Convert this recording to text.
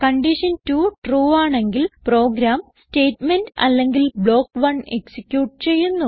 condition 2 true ആണെങ്കിൽ program statement അല്ലെങ്കിൽ block 1 execute ചെയ്യുന്നു